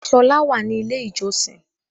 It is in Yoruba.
Ṣọlá wà ní ilé ìjọsin.